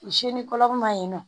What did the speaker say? Seli kɔlɔma yen nɔ